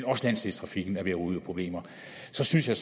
også landsdelstrafikken er ved at ryge ud i problemer så synes jeg